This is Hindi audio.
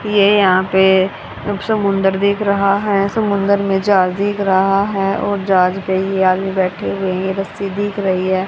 ये यहां पे अ समुंदर देख रहा है समुंदर में जाल दिख रहा है और जहाज पे ही आगे बैठे हुए ये रस्सी दिख रही है।